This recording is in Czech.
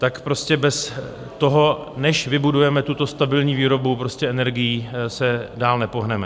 Tak prostě bez toho, než vybudujeme tuto stabilní výrobu energií, se dál nepohneme.